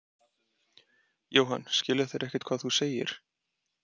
Jóhann: Skilja þeir ekkert hvað þú segir?